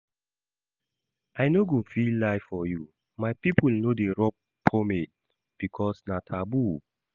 I no go lie for you, my people no dey rub pomade because na taboo